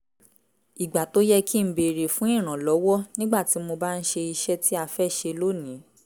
ìgbà tó yẹ kí n béèrè fún ìrànlọ́wọ́ nígbà tí mo bá ń ṣe iṣẹ́ tí a fẹ́ ṣe lónìí